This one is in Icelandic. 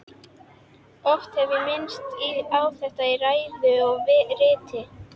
Oft hef ég minnt á þetta í ræðu og riti.